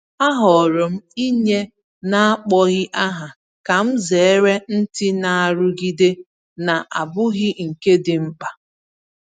Ahọọrọ m inye n’akpọghị aha ka m zere ntị na nrụgide na-abụghị nke dị mkpa.